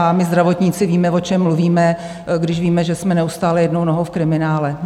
A my zdravotníci víme, o čem mluvíme, když víme, že jsme neustále jednou nohou v kriminále.